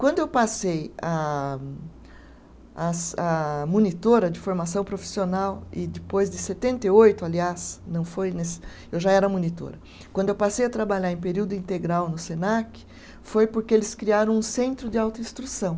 Quando eu passei a a se à monitora de formação profissional, e depois de setenta e oito, aliás, não foi nesse, eu já era monitora, quando eu passei a trabalhar em período integral no Senac, foi porque eles criaram um centro de autoinstrução.